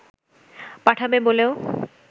পাঠাবে বলেও